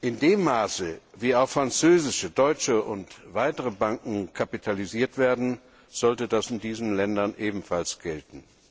In dem Maße, wie auch französische, deutsche und weitere Banken kapitalisiert werden, sollte das in diesen Ländern ebenfalls gelten.